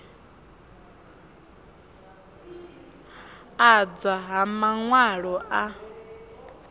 adzwa ha man walo a